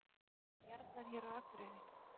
Bara jarlar hér á Akureyri.